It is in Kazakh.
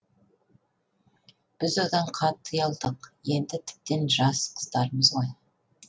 біз одан қатты ұялдық енді тіптен жас қыздармыз ғой